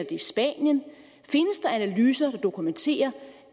i spanien findes der analyser der dokumenterer